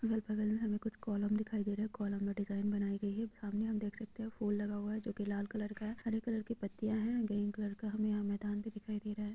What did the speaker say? अगल बगल में हमें कुछ कॉलम दिखाई दे रहा है कॉलम में डिजाईन बनाई गई है सामने हम देख सकते है फूल लगा हुआ है जो की लाल कलर का है हरी कलर की पत्तियां है ग्रीन कलर का हमे यह मैदान भी दिखाई दे रहा है।